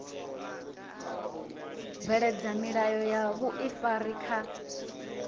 bveledza milayo ya vhuifari kha